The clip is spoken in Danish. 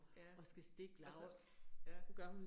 Ja. Og så, ja